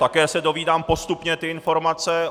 Také se dozvídám postupně ty informace.